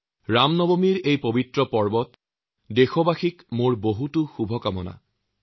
ৰাম নৱমীৰ এই পবিত্ৰ দিনটোত দেশবাসীক বহুত বহুত শুভেচ্ছা জনাইছো